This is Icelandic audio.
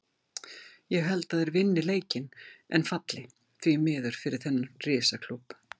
Ég held að þeir vinni leikinn en falli, því miður fyrir þennan risa klúbb.